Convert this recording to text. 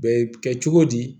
Bɛ kɛ cogo di